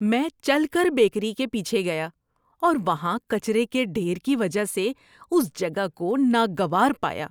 میں چل کر بیکری کے پیچھے گیا اور وہاں کچرے کے ڈھیر کی وجہ سے اس جگہ کو ناگوار پایا۔